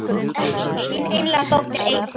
Þín einlæga dóttir Eygló.